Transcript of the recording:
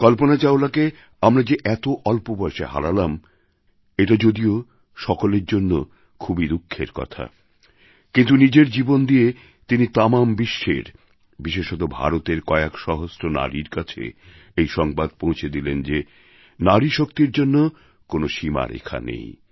কল্পনা চাওলাকে আমরা যে এত অল্প বয়সে হারালাম এটা যদিও সকলের জন্য খুবই দুঃখের কথা কিন্তু নিজের জীবন দিয়ে তিনি তামাম বিশ্বের বিশেষতঃ ভারতের কয়েক সহস্র নারীর কাছে এই সংবাদ পৌঁছে দিলেন যে নারীশক্তির জন্য কোনও সীমারেখা নেই